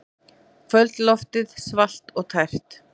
Kvöldloftið svalt og tært.